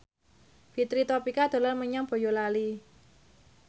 Fitri Tropika dolan menyang Boyolali